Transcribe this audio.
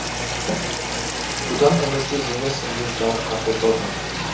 бұдан үмітсіз емеспін деп жауап қатты дорвард